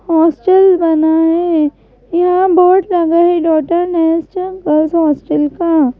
hostel बना है यहां बोर्ड लगा है गर्ल्स हॉस्टल का--